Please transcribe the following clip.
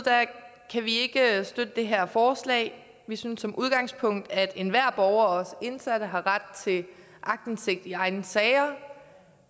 kan vi ikke støtte det her forslag vi synes som udgangspunkt at enhver borger også indsatte har ret til aktindsigt i egne sager